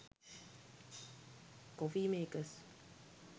coffee makers